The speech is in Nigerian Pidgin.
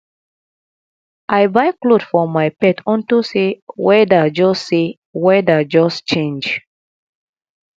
i buy cloth for my pet unto say weather just say weather just change